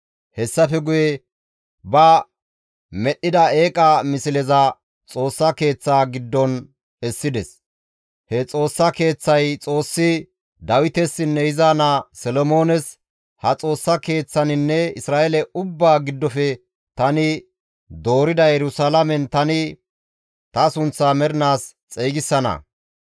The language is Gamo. Hessafe guye ba medhdhida eeqa misleza Xoossa Keeththaa giddon essides; he Xoossa Keeththay Xoossi Dawitesinne iza naa Solomoones, «Ha Xoossa Keeththaninne Isra7eele ubbaa giddofe tani doorida Yerusalaamen tani ta sunththaa mernaas xeygisana.